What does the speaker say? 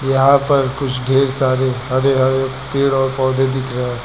यहां पर कुछ ढेर सारे हरे हरे पेड़ और पौधे दिख रहा है।